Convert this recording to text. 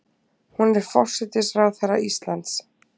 Hún er forsætisráðherra Íslands.